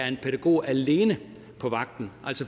en pædagog er alene på vagt